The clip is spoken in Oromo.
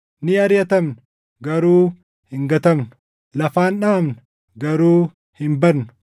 ni ariʼatamna, garuu hin gatamnu; lafaan dhaʼamna, garuu hin badnu.